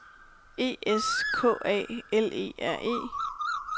E S K A L E R E